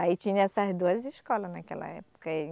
Aí tinha essas duas escolas naquela época.